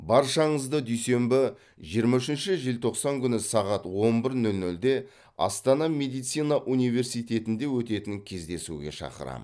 баршаңызды дүйсенбі жиырма үшінші желтоқсан күні сағат он бір нөл нөлде астана медицина университетінде өтетін кездесуге шақырамын